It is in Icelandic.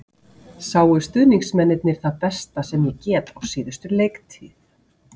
Sáu stuðningsmennirnir það besta sem ég get á síðustu leiktíð?